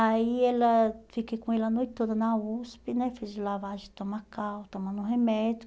Aí ela eu fiquei com ele a noite toda na USP né, fiz lavagem estomacal, tomando remédio.